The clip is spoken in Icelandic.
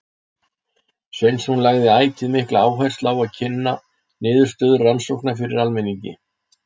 Sveinsson lagði ætíð mikla áherslu á að kynna niðurstöður rannsókna fyrir almenningi.